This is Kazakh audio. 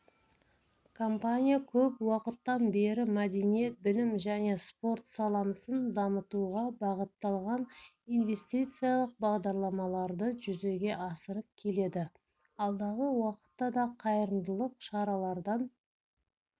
компания көп уақыттан бері мәдениет білім және спорт саламсын дамытуға бағытталған инвестициялық бағдарламаларды жүзеге асырып келеді алдағы уақытта да қайырымдылық шаралардан